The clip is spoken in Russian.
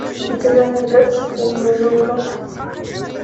у тебя найдется фильм журов